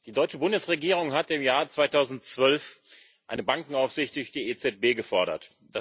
Die deutsche Bundesregierung hat im Jahr 2012 eine Bankenaufsicht durch die EZB gefordert